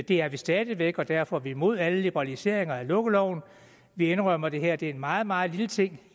det er vi stadig væk og derfor er vi imod alle liberaliseringer af lukkeloven vi indrømmer at det her i den forbindelse er en meget meget lille ting